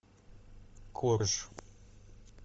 корж